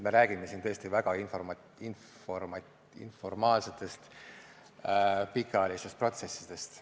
Me räägime siin tõesti väga informaalsetest pikaajalistest protsessidest.